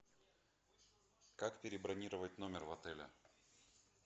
как перебронировать номер в отеле